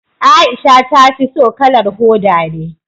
Aisha ta fi so kalar hoda ne